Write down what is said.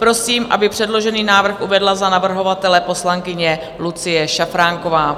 Prosím, aby předložený návrh uvedla za navrhovatele poslankyně Lucie Šafránková.